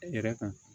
E yɛrɛ kan